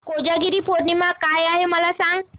कोजागिरी पौर्णिमा काय आहे मला सांग